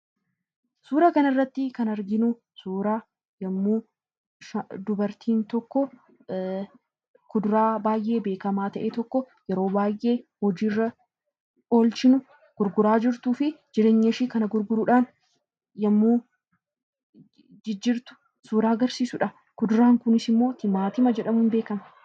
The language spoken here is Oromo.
Suuraa kanarratti kan arginu immoo dubartiin tokko kuduraa baay'ee beekamaa ta'e tokko yeroo baay'ee hojiirra oolchuuf gurguraa jirtuu fi jireenya ishee kana gurguruudhaan yommuu isheen jijjiirtu suuraa agarsiisudha. Kuduraan kunis immoo Timaatiama jedjamuun beekama.